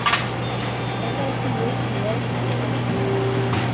Enee siwekyi yait neya